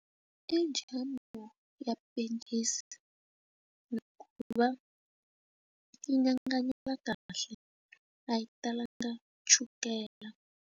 I jamu ya pencisi va nyanganya kahle a yi talanga chukela.